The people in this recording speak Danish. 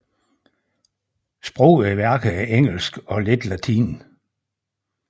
Sproget i værket er engelsk og lidt latin